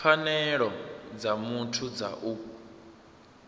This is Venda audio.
pfanelo dza muthu dza u